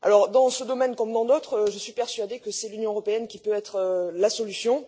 Dans ce domaine comme dans d'autres, je suis persuadée que l'Union européenne peut être la solution.